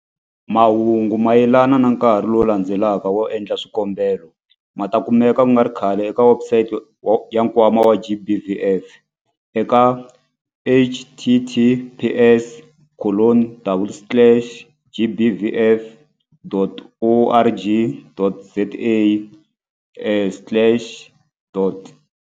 Mahungu mayelana na nkarhi lowu landzelaka wo endla swikombelo ma ta kumeka ku nga ri khale eka webusayiti ya Nkwama wa GBVF eka- https colon double slash gbvf.org.za slash.